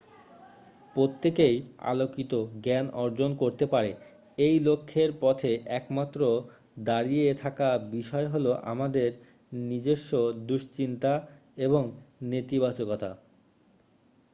প্রত্যেকেই আলোকিত জ্ঞান অর্জন করতে পারে এই লক্ষ্যের পথে একমাত্র দাঁড়িয়ে থাকা বিষয় হল আমাদের নিজস্ব দুশ্চিন্তা এবং নেতিবাচকতা